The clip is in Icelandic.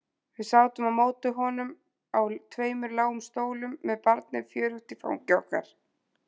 Við sátum á móti honum á tveimur lágum stólum með barnið fjörugt í fangi okkar.